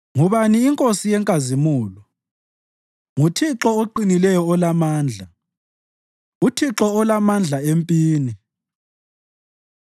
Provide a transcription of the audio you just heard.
Ngubani iNkosi yenkazimulo? NguThixo oqinileyo olamandla, uThixo olamandla empini.